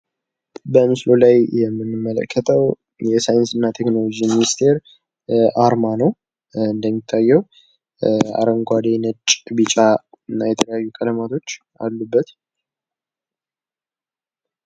በምስሉ ላይ የምንመለከተው የሳይንስና የቴክኖሎጂ ሚኒስቴር አርማ ነው እንደሚታየው አረንጓዴ ፣ ነጭ ፣ ቢጫ እና የተለያዩ ቀለማቶች አሉበት።